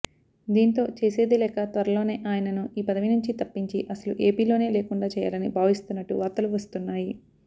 దీంతో చేసేదిలేక త్వరలోనే ఆయనను ఈపదవి నుంచి తప్పించి అసలు ఏపీలోనే లేకుండా చేయాలని భావిస్తున్నట్టు వార్తలు వస్తున్నాయి